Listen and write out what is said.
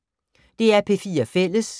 DR P4 Fælles